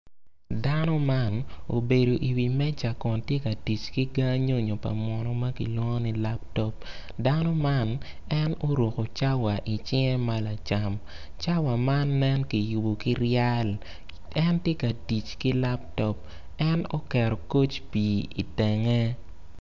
Dano man obedo iwi meja kun tye ka tic ki ga nyonyo pa munu ma kilwongo ni laptop dano man en oruko cawa icinge ma lacam cawa man nen kiyubo ki ryal en tye ka tic ki laptop en oketo koc pii itenge.